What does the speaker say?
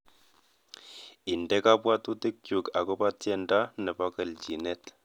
Indene kabwatutikchuk agoba tyendo nebo gelchinet